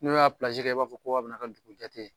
N'u y'a kɛ i b'a fɔ ko a bɛnu ka dugun jate ye